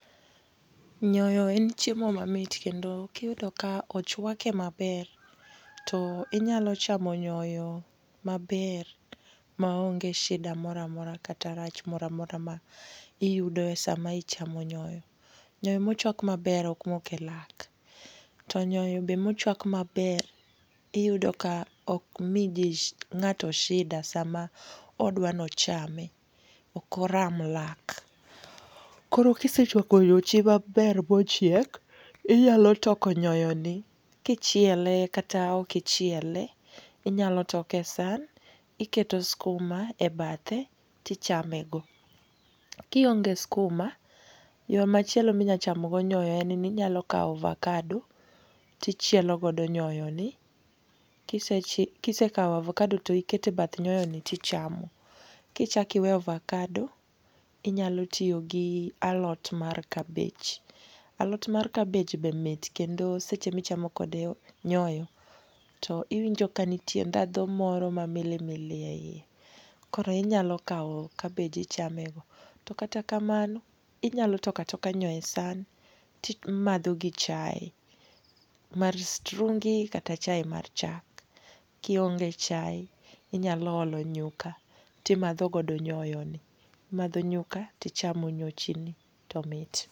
Nyoyo en chiemo mamit kendo kiyudo ka ochwake maber to inyalo chamo nyoyo maber ma onge shida moro amora kata rach moro amora ma iyudo e sama ichamo nyoyo. Nyoyo mochwak maber ok mok elak. To nyoyo be mochwak maber iyudo ka ok miji ng'ato shida sama odwa nochame. Ok oramlak. Koro kisechwako nyochi maber bochiek, inyalo toko nyoyoni kichiele. kata ok ichiele. Inyalo toke e san, iketo skuma ebathe tichamego. Kionge skuma, yo machielo minyachamo go nyoyo en ni nyalo kawo avokado, tichielo godo nyoyoni. kise kawo avokado to ikete e bath nyoyoni tichamo. Kichak iweyo avokado inyalo tiyo gi alot mar kabich. Alot mar kabich be mit, kendo sechemichamo kode nyoyo to iwinjoka nitie ndhadhu moro mamili mili yie yie. Koro inyalo kawo kabich ichamego. To kata kamano, inyalo toka toka nyoyo e san ti matho gi chae, mar strungi kata chai mar chak. Kionge chai inyalo olo nyuka, timadho godo nyoyoni. Imadho nyuka tichamo nyochini to mit.